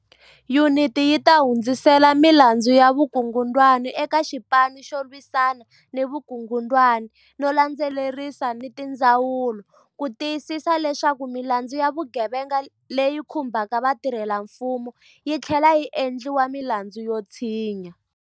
Yuniti yi ta hundzisela milandzu ya vukungundwani eka Xipanu xo Lwisana ni Vukungundwani no landze lerisa ni tindzawulo ku ti yisisa leswaku milandzu ya vugevenga leyi khumbaka vatirhelamfumo yi tlhlela yi endliwa milandzu yo tshinya.